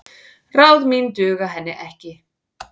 Ráð mín duga henni ekki.